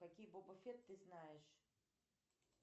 какие боба фет ты знаешь